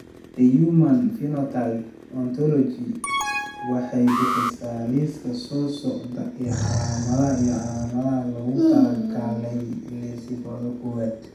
The Human Phenotype Ontology waxay bixisaa liiska soo socda ee calaamadaha iyo calaamadaha loogu talagalay Lissencephaly kowad.